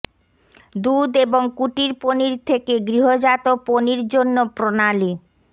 দুধ এবং কুটির পনির থেকে গৃহজাত পনির জন্য প্রণালী